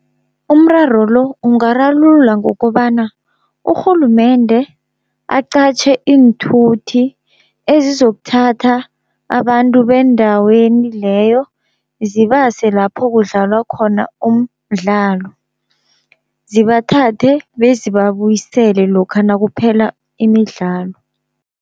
Umraro lo ungararulula ngokobana urhulumende aqatjhe iinthuthi ezizokuthatha abantu bendaweni leyo, zibase lapho kudlalwa khona umdlalo, zibathathe bezibabuyisele lokha nakuphela imidlalo.